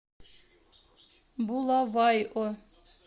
булавайо